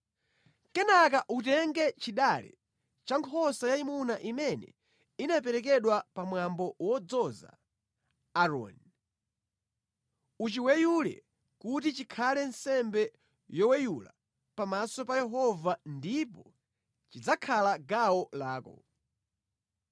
Kenaka utenge chidale cha nkhosa yayimuna imene inaperekedwa pamwambo wodzoza Aaroni, uchiweyule kuti chikhale nsembe yoweyula pamaso pa Yehova ndipo chidzakhala gawo lako.